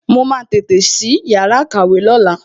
Wọn máa tètè sí yàrá ìkàwé lóla